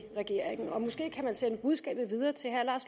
regeringen og måske kan man sende budskabet videre til herre lars